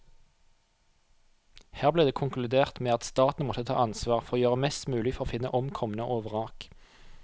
Her ble det konkludert med at staten måtte ta ansvar for å gjøre mest mulig for å finne omkomne og vrak.